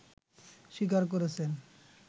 স্বীকার করেছেন